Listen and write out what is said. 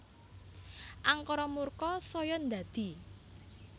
Angkara murka saya ndadi